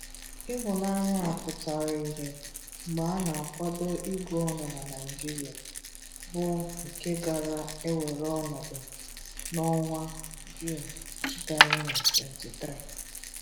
Ịhụnanya a pụtara ihe mgbe a na-akwado ịgụ ọnụ na Naịjiria, bụ nke gaara ewere ọnọdụ n'ọnwa Juun 2023.